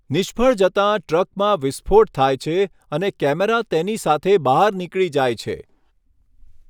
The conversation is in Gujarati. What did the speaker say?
નિષ્ફળ જતાં, ટ્રકમાં વિસ્ફોટ થાય છે અને કેમેરા તેની સાથે બહાર નીકળી જાય છે.